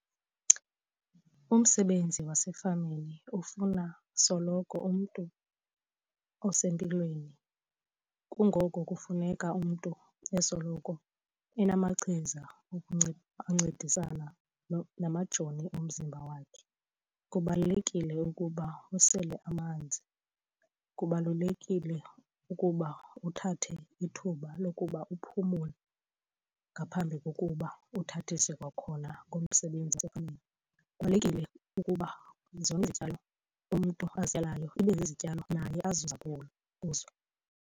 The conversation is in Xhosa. Umsebenzi wasefamini ufuna soloko umntu osempilweni kungoko kufuneka umntu esoloko enamachiza ancedisana namajoni omzimba wakhe. Kubalulekile ukuba usele amanzi, kubalulekile ukuba uthathe ithuba lokuba uphumule ngaphambi kokuba uthathise kwakhona ngomsebenzi wasefamini. Kubalulekile ukuba zonke izityalo umntu azityalayo ibe zizityalo naye azuza kuwo kuzo.